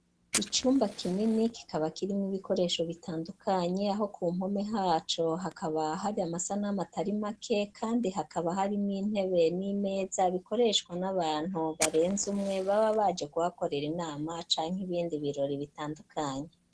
Icumba kinini kikaba kirimwo ibikoresho bitandukanye aho ku mpome haco hakaba hari amasanamu atari make kandi hakaba hari miw'ntebe n'imeza bikoreshwa n'abantu barenze umwe baba baje ku hakorera inama canke ibindi birori bitandukanye